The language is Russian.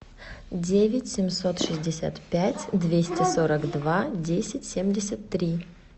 девять семьсот шестьдесят пять двести сорок два десять семьдесят три